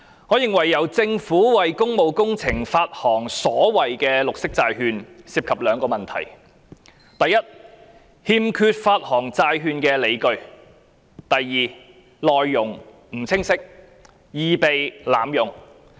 我認為由政府為工務工程發行所謂綠色債券，涉及兩個問題：第一，欠缺發行債券的理據；第二，內容不清晰，易被濫用。